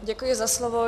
Děkuji za slovo.